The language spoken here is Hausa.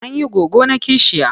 An yi goggona kishiya.